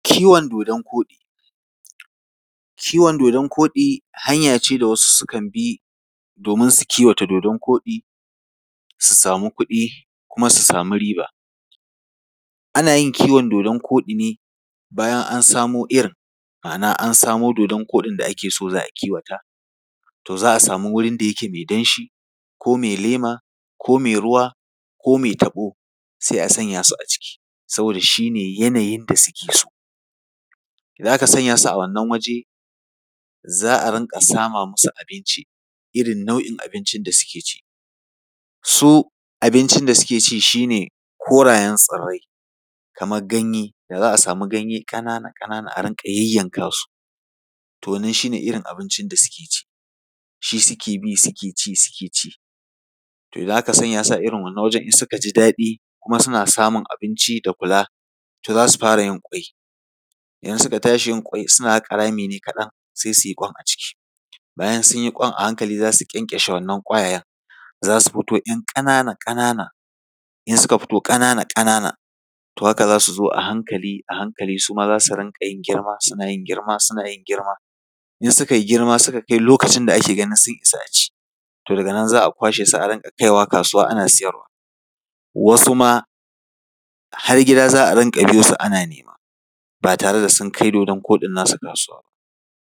Kiwon dodon-koɗi. Kiwon dodon-koɗi hanya ce da wasu sukan bi domin su kiwata dodon-koɗi, su samu kuɗi kuma su samu riba. Ana yin kiwon dodon koɗi ne bayan an samo irin. Ma’ana, an samo dodon koɗin da ake so a kiwata. To za a samu wurin da yake mai danshi ko mai lema ko mai ruwa ko mai taɓo,, sai a sanya su a ciki, saboda shi ne yanayin da suke so. Idan aka sanya su a wannan waje, za a rinƙa sama musu abinci irin nau’in abincin da suke ci. Su abincin da suke ci shi ne korayen tsirrai, kamar ganye. Da za a samu ganye ƙanana a rinƙa yayyanka su, to wannan shi ne irin abincin da suke ci. Shi suke bi suke ci, suke ci. To idan aka sanya su a irin wannan wajen in suka ji daɗi, kuma suna samun abinci da kula, to za su fara yin ƙwai. In suka tashi yin ƙwai, suna haƙa rami ne kaɗan, sai su yi ƙwan a ciki. Bayan sun yi ƙwan, a hankali za su ƙyanƙyashe wannan ƙwayayen, za su fito ‘yan ƙanana, ƙanana, in suka fito ƙanana ƙanana, to a haka za su zo a hankali a hankali su ma za su rinƙa yin girma, suna yin girma, suna yin girma. In suka yi girma, suka kai lokacin da ake ganin sun isa a ci, to daga nan za a riƙa kwashe su ana kaiwa kasuwa, ana siyarwa. Wasu ma har gida za a riƙa biyo su ana nema, ba tare da sun kai dodon koɗin nasu kasuwa ba.